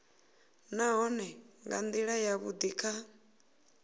nahone nga ndila yavhudi kha